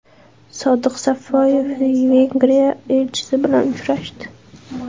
Sodiq Safoyev Vengriya elchisi bilan uchrashdi.